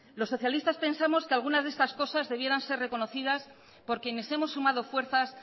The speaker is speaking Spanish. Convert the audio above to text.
los socialistas pensamos que algunas de estas cosas debieran ser reconocidas por quienes hemos sumado fuerzas